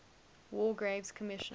war graves commission